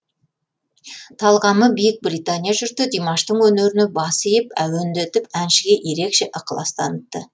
талғамы биік британия жұрты димаштың өнеріне бас иіп әуендетіп әншіге ерекше ықылас танытты